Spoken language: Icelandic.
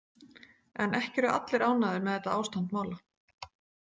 En ekki eru allir ánægðir með þetta ástand mála.